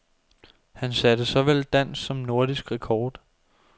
Han satte såvel dansk som nordisk rekord.